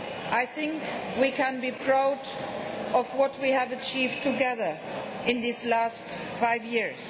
I think we can be proud of what we have achieved together in these past five years.